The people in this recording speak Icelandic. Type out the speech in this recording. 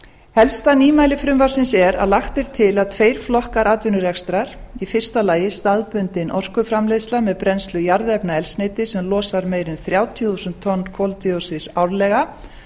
helsta nýmæli frumvarpsins er að lagt er til að tveir flokkar atvinnurekstrar í fyrsta lagi staðbundin orkuframleiðsla með brennslu jarðefnaeldsneytis sem losar meira en þrjátíu þúsund tonn koldíoxíðs árlega